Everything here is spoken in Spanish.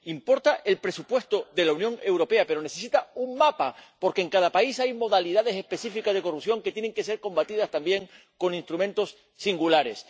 Importa el presupuesto de la Unión Europea, pero necesita un mapa, porque en cada país hay modalidades específicas de corrupción que tienen que ser combatidas también con instrumentos singulares.